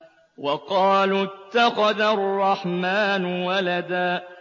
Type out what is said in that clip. وَقَالُوا اتَّخَذَ الرَّحْمَٰنُ وَلَدًا